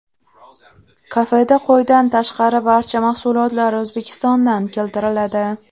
Kafeda qo‘ydan tashqari barcha mahsulotlar O‘zbekistondan keltiriladi.